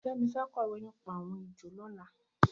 Femi fẹ̀ kọwé nipá awọn éjó lọ̀lá